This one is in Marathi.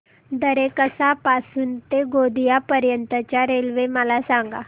दरेकसा पासून ते गोंदिया पर्यंत च्या रेल्वे मला सांगा